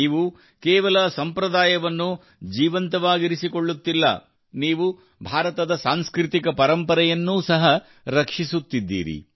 ನೀವು ಕೇವಲ ಸಂಪ್ರದಾಯವನ್ನು ಜೀವಂತವಾಗಿಸಿಕೊಳ್ಳುತ್ತಿಲ್ಲ ನೀವು ಭಾರತದ ಸಾಂಸ್ಕೃತಿಕ ಪರಂಪರೆಯನ್ನು ಸಹ ರಕ್ಷಿಸುತ್ತಿದ್ದೀರಿ